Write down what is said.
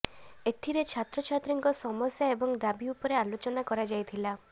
ଏଥିରେ ଛାତ୍ରଛାତ୍ରୀଙ୍କ ସମସ୍ୟା ଏବଂ ଦାବି ଉପରେ ଆଲୋଚନା କରାଯାଇଥିଲା